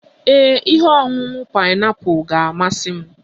Ee, ihe ọṅụṅụ paịnapụl ga-amasị m